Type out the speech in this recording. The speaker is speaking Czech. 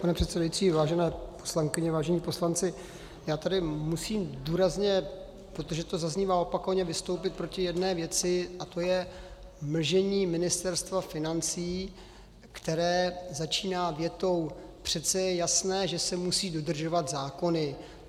Pane předsedající, vážené poslankyně, vážení poslanci, já tady musím důrazně, protože to zaznívá opakovaně, vystoupit proti jedné věci a tou je mlžení Ministerstva financí, které začíná větou: Přece je jasné, že se musí dodržovat zákony.